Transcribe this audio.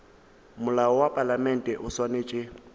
molao wa palamente o swanetše